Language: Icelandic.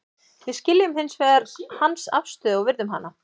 Við skiljum hins vegar hans afstöðu og virðum hana.